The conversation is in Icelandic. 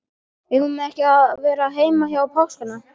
Eigum við ekki að vera heima um páskana?